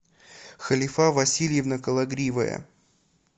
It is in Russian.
халифа васильевна кологривая